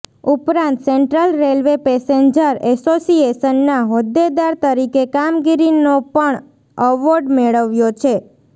ઉપરાંત central railway passenger એસોસિયેશનનાં હોદ્દેદાર તરીકે કામગીરીનો પણ અવોર્ડ મેળવ્યો છે